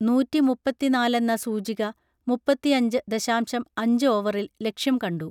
നൂറ്റി മുപ്പത്തിനാലെന്ന സൂചിക മുപ്പത്തിയഞ്ച് ദശാംശം അഞ്ച് ഓവറിൽ ലക്ഷ്യം കണ്ടു